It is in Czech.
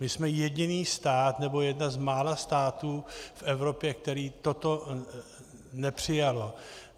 My jsme jediný stát, nebo jeden z mála států v Evropě, který toto nepřijal.